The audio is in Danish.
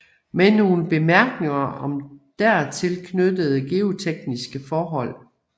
Med nogle Bemærkninger om dertil knyttede geotekniske Forhold